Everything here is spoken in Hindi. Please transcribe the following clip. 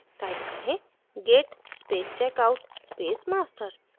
type करें: git space checkout space master